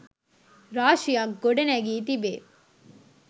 රාශියක් ගොඩ නැගී තිබේ.